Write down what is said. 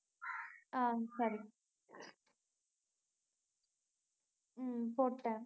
ஆஹ் சரி உம் போட்டேன்